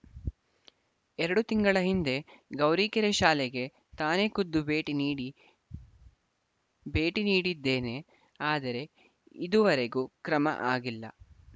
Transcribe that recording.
ಎರಡು ತಿಂಗಳ ಹಿಂದೆ ಗೌರಿಕೆರೆ ಶಾಲೆಗೆ ತಾನೆ ಖುದ್ದು ಭೇಟಿ ನೀಡಿ ಭೇಟಿ ನೀಡಿದ್ದೇನೆ ಆದರೆ ಇದೂವರೆಗೂ ಕ್ರಮ ಆಗಿಲ್ಲ